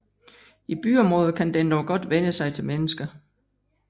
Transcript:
I byområder kan den dog godt vænne sig til mennesker